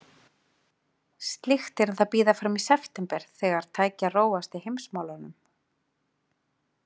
Slíkt yrði að bíða fram í september, þegar tæki að róast í heimsmálunum.